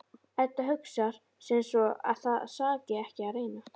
Edda hugsar sem svo að það saki ekki að reyna.